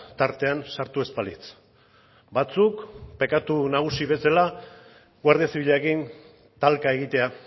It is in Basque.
tartean sartu ez balitz batzuk pekatu nagusi bezala guardia zibilarekin talka egitea